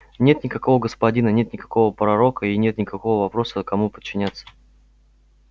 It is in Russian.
нет никакого господина нет никакого пророка и нет никакого вопроса кому подчиняться